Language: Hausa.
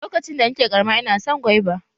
Lokacin da na ke ƙarama ina son gwaiba.